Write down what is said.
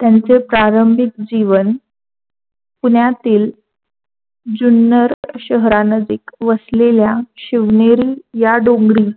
त्यांचे प्रारंभिक जीवन पुण्यातील जुन्नर शहरानजीक वसलेल्या शिवनेरी या डोंगरी